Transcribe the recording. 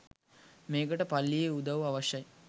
මේකට පල්ලියේ උදවු අවශ්‍යයි.